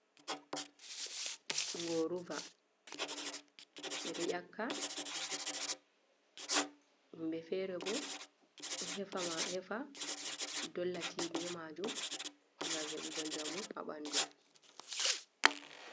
Ngoruva be ɗo nƴakka. Himbe fere bo hefa ɗolla ti be majum. ngam hebugo jamu ha banɗu.